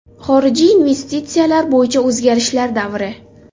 Xorijiy investitsiyalar bo‘yicha o‘zgarishlar davri.